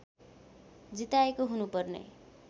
जिताएको हुनुपर्ने